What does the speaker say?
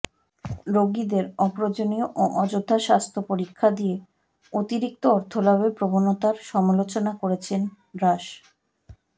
রোগীদের অপ্রয়োজনীয় ও অযথা স্বাস্থ্য পরীক্ষা দিয়ে অতিরিক্ত অর্থলাভের প্রবণতার সমালোচনা করেছেন রাষ্